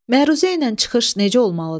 Məruzə ilə çıxış necə olmalıdır?